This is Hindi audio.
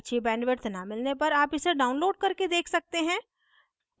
अच्छी bandwidth न मिलने पर आप इसे download करके देख सकते हैं